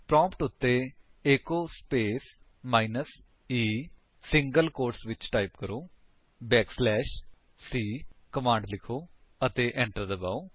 prompt ਉੱਤੇ echo space minus e single quote ਵਿੱਚ type ਕਰੋ ਬੈਕ ਸਲੈਸ਼ c ਸੀ ਕਮਾਂਡ ਲਿਖੋ ਅਤੇ enter ਦਬਾਓ